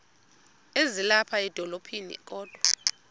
ezilapha edolophini kodwa